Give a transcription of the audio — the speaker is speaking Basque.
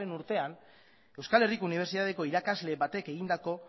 urtean euskal herriko unibertsitateko irakasle batek egindako